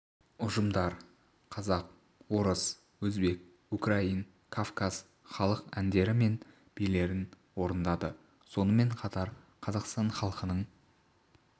ұжымдар қазақ орыс өзбек украин кавказ халық әндері мен билерін орындады сонымен қатар қазақстан халқының